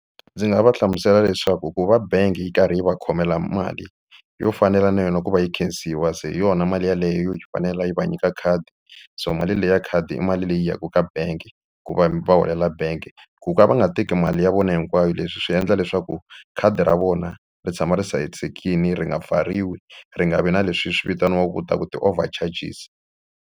Ndzi nga va hlamusela leswaku ku va bangi yi karhi yi va khomela mali yo fanela na yona ku va yi khensiwa se hi yona mali yeleyo yo yi fanele yi va nyika khadi so mali leyi ya khadi i mali leyi yaka ka bank ku va va holela bank ku ka va nga teki mali ya vona hinkwayo leswi swi endla leswaku khadi ra vona ri tshama ri hlayisekile ri nga pfariwi ri nga vi na leswi swi vitaniwaku ku ta ku ti-over charges.